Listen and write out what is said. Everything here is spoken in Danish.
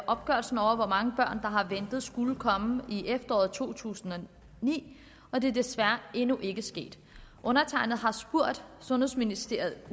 opgørelsen over hvor mange børn der har ventet skulle være kommet i efteråret to tusind og ni men det er desværre endnu ikke sket undertegnede har spurgt sundhedsministeriet